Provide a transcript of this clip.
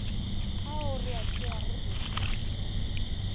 ao re a tšeago go